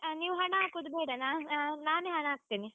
ನೀವು ಹಣ ಹಾಕುದು ಬೇಡ, ನಾ ಆ ನಾನೇ ಹಣ ಹಾಕ್ತೇನೆ.